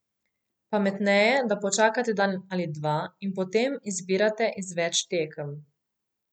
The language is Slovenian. Pametneje, da počakate dan ali dva in potem izbirate iz več tekem.